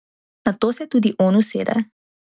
Nato se tudi on usede.